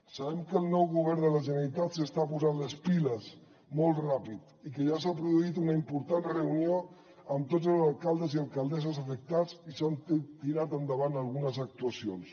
sabem que el nou govern de la generalitat s’està posant les piles molt ràpid i que ja s’ha produït una important reunió amb tots els alcaldes i alcaldesses afectats i s’han tirat endavant algunes actuacions